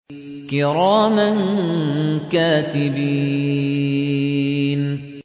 كِرَامًا كَاتِبِينَ